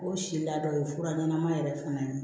O si la dɔ ye fura ɲɛnama yɛrɛ fana ye